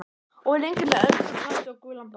Of lengi með önd úr plasti og gulan bát